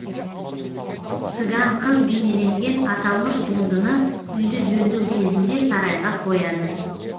цыган қыз бейнеленген аталмыш туындыны үйді жөндеу кезінде сарайға қояды